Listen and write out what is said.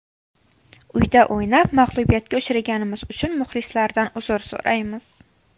Uyda o‘ynab, mag‘lubiyatga uchraganimiz uchun muxlislardan uzr so‘raymiz.